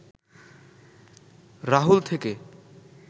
রাহুল থেকে